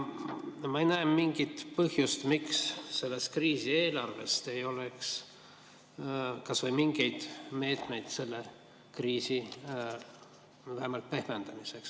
Ma ei näe mingit põhjust, miks selles kriisieelarves ei peaks olema kas või mingeid meetmeid selle kriisi vähemalt pehmendamiseks.